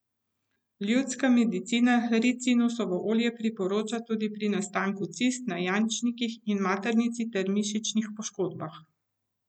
Ljudska medicina ricinusovo olje priporoča tudi pri nastanku cist na jajčnikih in maternici ter mišičnih poškodbah.